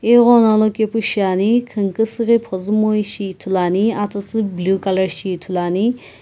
eghono alokae pu shinane khiinkusii ghi phuzumoishi ithulu ane atsuatsu blue colour shi ithulu ane.